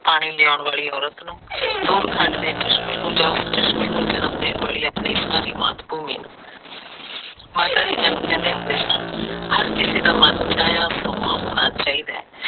ਪਾਣੀ ਲਿਆਉਣ ਵਾਲੀ ਅੋਰਚ ਨੂੰ ਦੂਰ ਥੰਡ ਦੇ ਚਸ਼ਮੇ ਨੂੰ ਉਸ ਚਸ਼ਮੇ ਨੂੰ ਜਨਮ ਦੇਣ ਵਾਲੀ ਆਪਣੀ ਸਾਰੀ ਮਾਤ ਭੂਮੀ ਨੂੰ । ਮਾਤਾ ਜੀ ਮੈਨੂੰ ਕਹਿੰਦੇ ਹੋਂਦੇ ਸਨ, ਹਰ ਕਿਸੇ ਦਾ ਮਨ ਚਾਹਿਆ ਸੋਮਾ ਹੋਣਾ ਚਾਹੀਦਾ ਏ